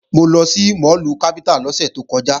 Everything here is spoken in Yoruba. Mo lọ sí máàlù Capital lọ́sẹ̀ tó kọjá